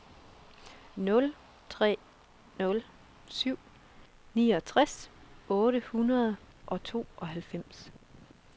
nul tre nul syv niogtres otte hundrede og tooghalvfems